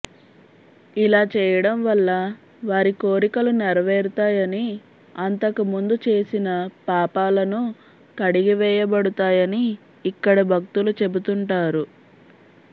ఇలాచేయడం వల్ల వారి కోరికలు నెరవేరుతాయని అంతకుముందు చేసిన పాపాలను కడిగివేయబడుతాయని ఇక్కడి భక్తులు చెబుతుంటారు